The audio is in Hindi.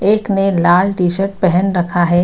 एक ने लाल टी-शर्ट पहेन रखा है।